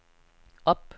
op